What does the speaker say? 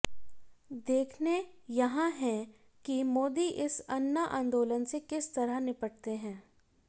देखने यहां हैं कि मोदी इस अन्ना आंदोलन से किस तरह निपटते है